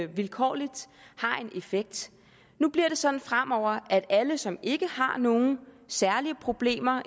vilkårligt har en effekt nu bliver det sådan fremover at alle som ikke har nogen særlige problemer